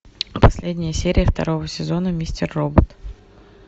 последняя серия второго сезона мистер робот